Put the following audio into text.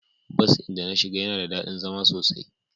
Bus din da na shiga yana da dadi zama sosai.